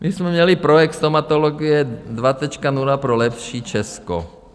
My jsme měli projekt Stomatologie 2.0 pro lepší Česko.